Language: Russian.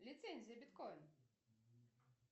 лицензия биткоин